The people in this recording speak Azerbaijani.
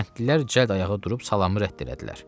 Kəndlilər cəld ayağa durub salamı rədd elədilər.